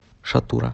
шатура